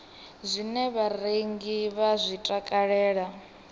zwine vharengi vha zwi takalela